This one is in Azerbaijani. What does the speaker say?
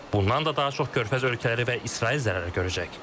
Bundan da daha çox körfəz ölkələri və İsrail zərər görəcək.